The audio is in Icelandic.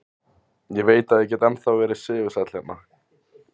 Ég veit að ég get ennþá verið sigursæll hérna.